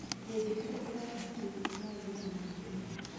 Ĩngĩtigwo ĩroota biũ, no ĩgĩe na mahĩtia